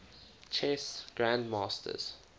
chess grandmasters